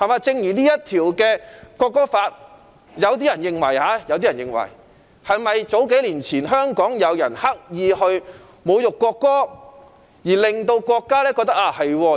就《條例草案》而言，有人認為，數年前香港有人刻意侮辱國歌，令國家認為有立法的需要。